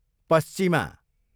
पस्चिमा